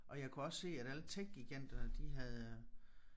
Og jeg kunne også se at alle tech-giganterne de havde